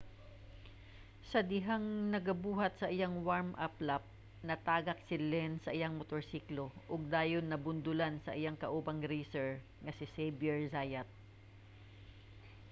sa dihang nagabuhat sa iyang warm-up lap natagak si lenz sa iyang motorsiklo ug dayon nabundulan sa iyang kaubang racer nga si xavier zayat